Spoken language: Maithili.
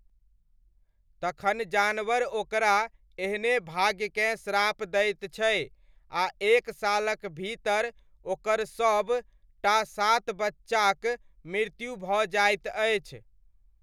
तखन जानवर ओकरा एहने भाग्यकेँ श्राप दैत छै आ एक सालक भीतर ओकर सब टा सात बच्चाक मृत्यु भऽ जाइत अछि।